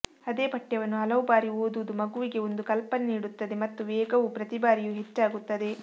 ಅದೇ ಪಠ್ಯವನ್ನು ಹಲವು ಬಾರಿ ಓದುವುದು ಮಗುವಿಗೆ ಒಂದು ಕಲ್ಪನೆ ನೀಡುತ್ತದೆ ಮತ್ತು ವೇಗವು ಪ್ರತಿ ಬಾರಿಯೂ ಹೆಚ್ಚಾಗುತ್ತದೆ